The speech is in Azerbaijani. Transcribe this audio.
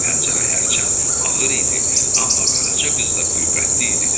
Pəncərə hərçənd ağır idi, amma Qaraca qız da qüvvətli idi.